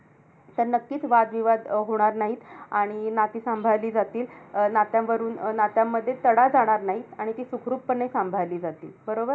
तर नक्कीच वादविवाद अं होणार नाहीत. आणि नाती सांभाळली जातील. अं नात्यावरून अं नात्यांमध्ये तडा जाणार नाही. आणि ती सुखरूपपणे सांभाळली जातील. बरोबर?